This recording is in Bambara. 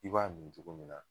I b'a mi togo min na